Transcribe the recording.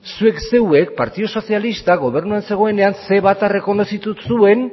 zuek zeuek partidu sozialistak gobernuan zegoenean ce bat errekonozitu zuen